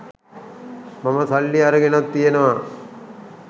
මම සල්ලි අරගෙනත් තියෙනවා.